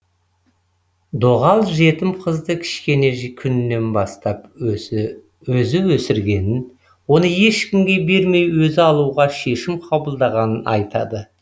доғал жетім қызды кішкене күнінен бастап өзі өсіргенін оны ешкімге бермей өзі алуға шешім қабылдағанын айтады